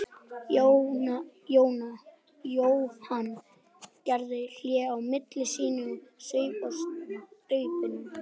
Jóhann gerði hlé á máli sínu og saup á staupinu.